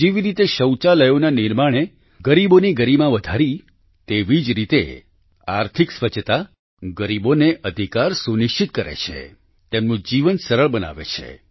જેવી રીતે શૌચાલયોના નિર્માણે ગરીબોને ગરિમા વધારી તેવી જ રીતે આર્થિક સ્વચ્છતા ગરીબોને અધિકાર સુનિશ્ચિત કરે છે તેમનું જીવન સરળ બનાવે છે